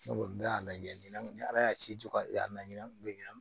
Ne ko n bɛ a lajɛ ni ala y'a ci ju aɲina bɛ ɲina